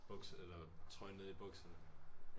Buks eller trøjen nede i bukserne